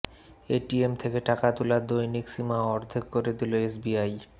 ATM থেকে টাকা তোলার দৈনিক সীমা অর্ধেক করে দিল এসবিআই